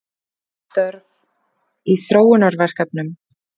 Mörg störf í þróunarverkefnum